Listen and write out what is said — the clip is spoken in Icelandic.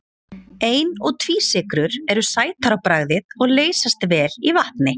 Ein- og tvísykrur eru sætar á bragðið og leysast vel í vatni.